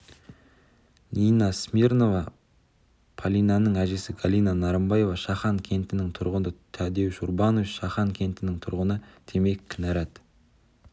нина смирнова полинаның әжесі галина нарымбаева шахан кентінің тұрғыны тадеуш урбанович шахан кентінің тұрғыны демек кінәрат